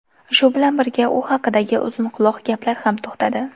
Shu bilan birga u haqidagi uzunquloq gaplar ham to‘xtadi.